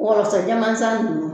Wɔlɔsɔ camansan kun.